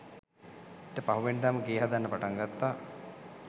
ඊට පහුවෙනිදම ගේ හදන්න පටන් ගත්තා